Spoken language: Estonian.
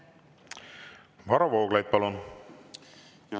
Varro Vooglaid, palun!